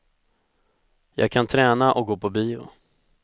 Jag kan träna och gå på bio.